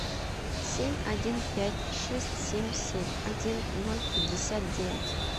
семь один пять шесть семь семь один ноль пятьдесят девять